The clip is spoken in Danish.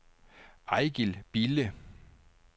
Eigil Bille